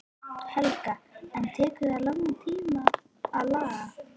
Helga: En tekur það langan tíma að laga?